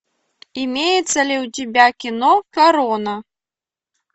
имеется ли у тебя кино корона